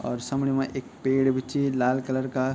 और समणी मा ऐक पेड़ बि च लाल कलर का।